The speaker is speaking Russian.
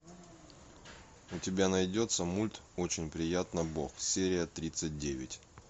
у тебя найдется мульт очень приятно бог серия тридцать девять